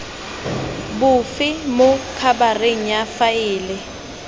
bofelo mo khabareng ya faele